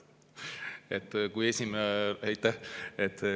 Aitäh!